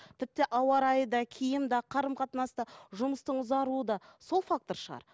тіпті ауа райы да киім де қарым қатынас та жұмыстың ұзаруы да сол фактор шығар